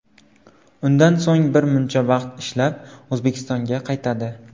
Undan so‘ng bir muncha vaqt ishlab, O‘zbekistonga qaytadi.